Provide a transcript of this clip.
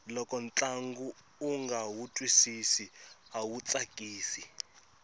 loko ntlangu unga wu twisisi awu tsakisi